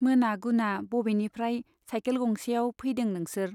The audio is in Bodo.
मोना गुना बबेनिफ्राय साइकेल गंसेआव फैदों नोंसोर ?